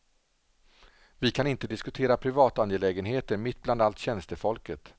Vi kan inte diskutera privatangelägenheter mitt bland allt tjänstefolket.